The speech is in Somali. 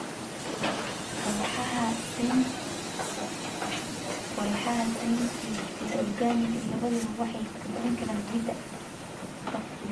Walxaha synthetic iyo organic labaduba waxay kobcin karaan ciidda.